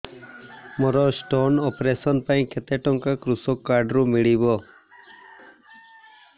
ମୋର stone operation ପାଇଁ କେତେ ଟଙ୍କା କୃଷକ କାର୍ଡ ରୁ ମିଳିବ